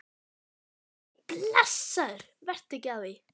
Nei, nei, blessaður, vertu ekki að því.